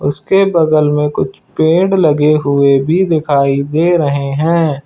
उसके बगल में कुछ पेड़ लगे हुए भी दिखाई दे रहे हैं।